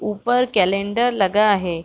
ऊपर कैलेंडर लगा हे।